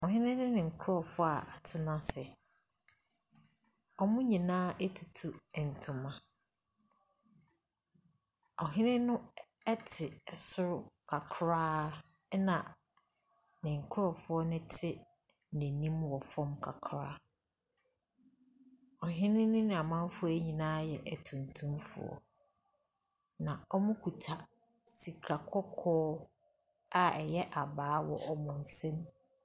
Ɔhene ne ne nkurɔfoɔ a wɔatena ase. Wɔn nyinaa atutu ntoma. Ɔhene no ɛ ɛte soro kakra, ɛnna ne nkurɔfoɔ no te n'anim wɔ fam kakra. Ɔhene ne n'amanfoɔ yi nyinaa yɛ atuntumfoɔ, na wɔkuta sika kɔkɔɔ a ɛyɛ abaa wɔ wɔn nsam.